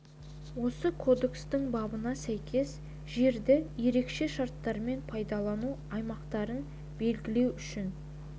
осы кодекстің бабына сәйкес жерді ерекше шарттармен пайдалану аймақтарын белгілеу үшін